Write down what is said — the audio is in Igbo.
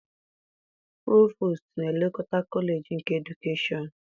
Provostu na-elekọta kọleji nke edukeshọn